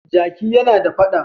Jaki yana da fada.